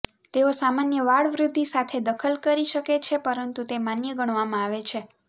તેઓ સામાન્ય વાળ વૃદ્ધિ સાથે દખલ કરી શકે છે પરંતુ તે માન્ય ગણવામાં આવે છે